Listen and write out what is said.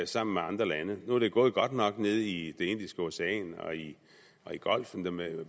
sammen med andre lande nu er det gået godt nok nede i det indiske ocean og i golfen